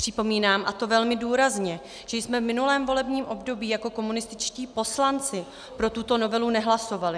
Připomínám, a to velmi důrazně, že jsme v minulém volebním období jako komunističtí poslanci pro tuto novelu nehlasovali.